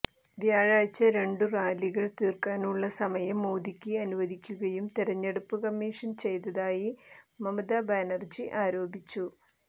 വ്യാഴാഴ്ച രണ്ടു റാലികൾ തീർക്കാനുള്ള സമയം മോദിക്ക് അനുവദിക്കുകയും തെരരഞ്ഞെടുപ്പ് കമ്മിഷൻ ചെയ്തതായി മമതാ ബാനര്ജി ആരോപിച്ചു